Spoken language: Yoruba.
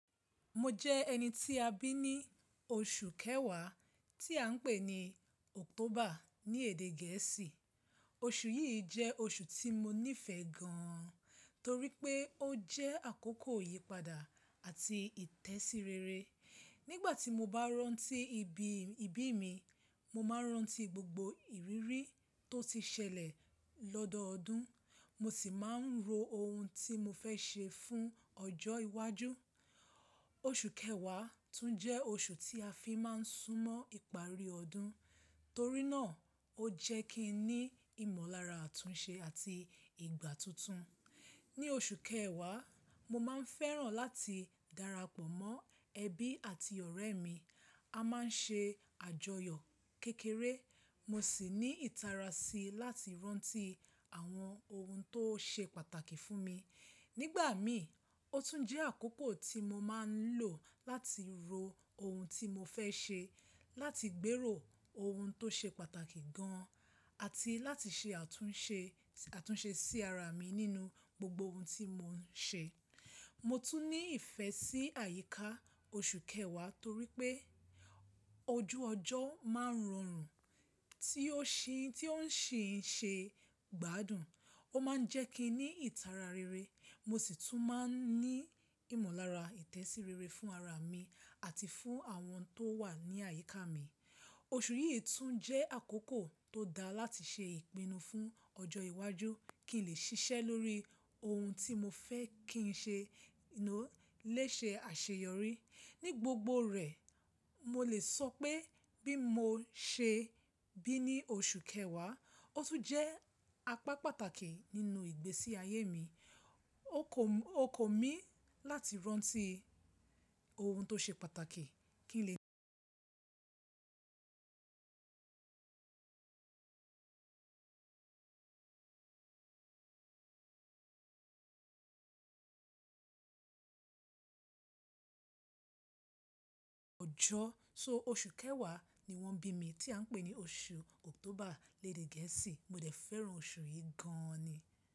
Mo jẹ́ ẹni tí a bí ní oṣù kẹwàá tí à ń pè ní October ní èdè gẹ̀ẹ́sì. Oṣù yìí jẹ́ oṣù tí mo nífẹ̀ẹ́ gan torí pé ó jẹ́ àkókò ìyípadà àti ìtẹ̀síreere. Nígbà tí mo bá rántí ibi ìbí mi, mo máa rántí gbogbo ìrírí tó ti ṣẹlẹ̀ lọ́dọọdún, mo sì máa ń ro ohun tí mo fẹ́ ṣe fún ọjọ́ iwájú. Oṣù kẹwàá tún jẹ́ oṣù tí a fi máa ń súnmọ́ ìparí ọdún, torí náà ó jẹ́ kí n ní ìmọ̀lára àtúnṣe àti ìgbà tuntun. Ní oṣù kẹwàá, mo máa ń fẹ́ràn láti darapọ̀ mọ́ ẹbí àti ọ̀rẹ́ mi. A máa ń ṣe àjọyọ̀ kékeré, mo sì ní ìtara si láti rántí àwọn ohun tó ṣe pàtàkì fún mi. Nígbà mi, ó tún jẹ́ àkókò tí mo máa ń lò láti ro ohun tí mo fẹ́ ṣe, láti gbèrò ohun tó ṣe pàtàkì gan àti láti ṣe àtúnṣe sí ara mi nínú gbogbo ohun tí mo ń ṣe. Mo tún ní ìfẹ́ sí àyíká oṣù kẹwàá torí pé ojú ọjọ́ máa ń rọrùn tí ó ń ṣì ń ṣe gbádùn. Ó máa ń jẹ́ kí n ní ìtara rere. Mo sì tún máa ń ní ìmọ̀lára ìtẹ̀síreere fún ara mi àti fún àwọn tó wà ní àyíká mi. Oṣù yìí tún jẹ́ àkókò tó dáa láti ṣe ìpinnu fún ọjọ́ iwájú kí n lè ṣiṣẹ́ lórí ohun tí mo fẹ́ kí n lè ṣe àṣeyọrí. Ní gbogbo rẹ̀, mo lè sọ pé bí mo ṣe bí ní oṣù kẹwàá, ó tún jẹ́ apá pàtàkì nínú ìgbésí ayé mi. Ó kò mi láti rántí ohun tó ṣe pàtàkì kí n lè ọjọ́. So oṣù kẹwàá ni wọ́n bí mi tí à ń pè ní oṣù October léèdè gẹ̀ẹ́sì. Mo dẹ́ fẹ́ràn oṣù yìí gan ni.